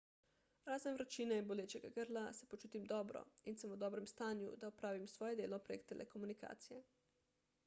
razen vročine in bolečega grla se počutim dobro in sem v dobrem stanju da opravim svoje delo prek telekomunikacije